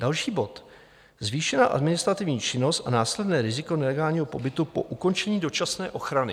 Další bod: Zvýšená administrativní činnost a následné riziko nelegálního pobytu po ukončení dočasné ochrany.